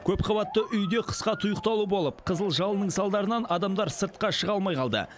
көпқабатты үйде қысқа тұйықталу болып қызыл жалынның салдарынан адамдар сыртқа шыға алмай қалды